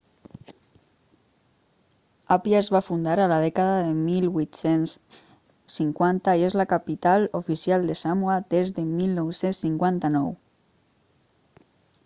apia es va fundar a la dècada de 1850 i és la capital oficial de samoa des de 1959